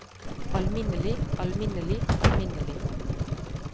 alminnelig alminnelig alminnelig